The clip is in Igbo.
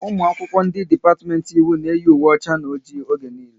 Ụmụ akwụkwọ ndị dipatiment Ịwụ na eyi ùwé ọcha na ọjị oge niile